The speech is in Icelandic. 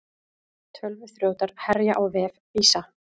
Tölvuþrjótar herja á vef Visa